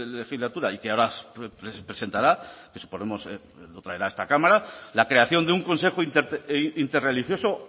legislatura y que ahora presentará suponemos que lo traerá a esta cámara la creación de un consejo interreligioso